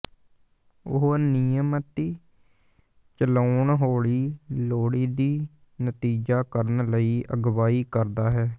ਉਹ ਨਿਯਮਿਤ ਚਲਾਉਣ ਹੌਲੀ ਲੋੜੀਦੀ ਨਤੀਜਾ ਕਰਨ ਲਈ ਅਗਵਾਈ ਕਰਦਾ ਹੈ